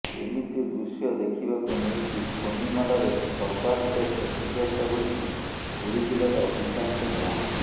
ଏମିତି ଦୃଶ୍ୟ ଦେଖିବାକୁ ମିଳିଛି ଫୋନି ମାଡ଼ରେ ସର୍ବାଧିକ କ୍ଷତିଗ୍ରସ୍ତ ହୋଇଛି ପୁରୀ ଜିଲ୍ଲାର ଅଧିକାଂଶ ଗାଁରେ